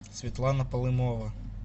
светлана полынова